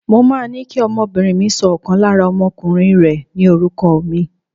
Mo máa ní kí ọmọbìnrin mi sọ ọ̀kan lára ọmọkùnrin rẹ̀ ní orúkọ mi.